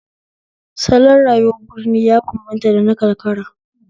Salon rayuwar birni ya bambanta da na karkara